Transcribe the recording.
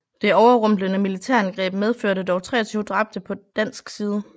Det overrumplende militærangreb medførte dog 23 dræbte på dansk side